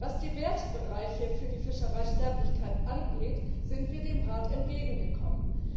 Was die Wertebereiche für die Fischereisterblichkeit angeht, sind wir dem Rat entgegengekommen.